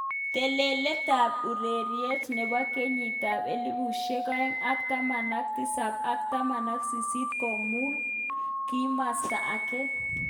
Telelet ab ureriet nebo kenyit ab elipushek aeng ak taman ak tisap ak taman ak sisit komui kimosta age.